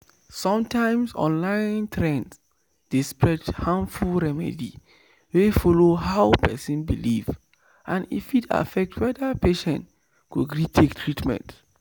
sometimes online trend dey spread harmful remedy wey follow how person believe and e fit affect whether patient go gree take treatment